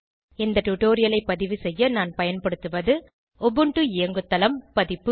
இந்த டுடோரியலை பதிவு செய்ய நான் பயன்படுத்துவது உபுண்டு இயங்குதளம் பதிப்பு